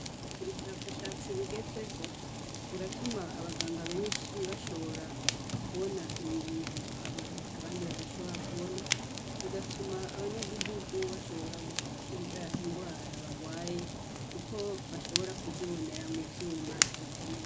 Ubushakashatsi bugezweho buratuma abanganga benshi bashobora kubona ibintu abandi badashobora kubona, bigatuma abanyagihugu bashobora gukira ingwara bagwaye, kuko bashobora kuzibonera mu vyuma bikomeye.